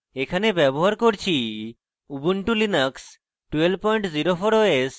এখানে ব্যবহার করছি ubuntu linux 1204 os এবং